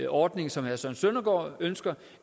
ordning som herre søren søndergaard ønsker